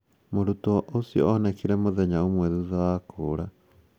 Mũrutwo ũcio onekire mũthenya ũmwe thutha wa kũũra.